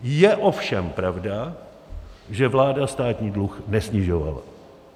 Je ovšem pravda, že vláda státní dluh nesnižovala.